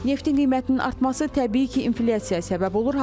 Neftin qiymətinin artması təbii ki, inflyasiyaya səbəb olur.